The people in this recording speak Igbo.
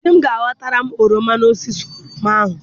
Di m ga-ahọtara m oroma n'osisi oroma ahụ.